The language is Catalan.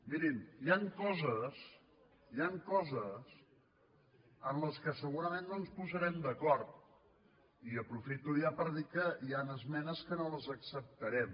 mirin hi ha coses hi ha coses en les quals segurament no ens posarem d’acord i aprofito ja per dir que hi han esmenes que no les acceptarem